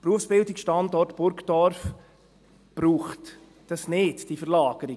Die Berufsbildung am Standort Burgdorf braucht sie nicht, diese Verlagerung.